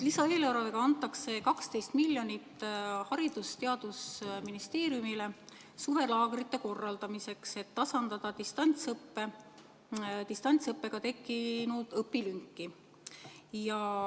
Lisaeelarvega antakse 12 miljonit eurot Haridus- ja Teadusministeeriumile suvelaagrite korraldamiseks, et tasandada distantsõppe ajal tekkinud õpilünki.